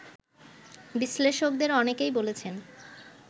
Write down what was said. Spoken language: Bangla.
বিশ্লেষকদের অনেকেই বলেছেন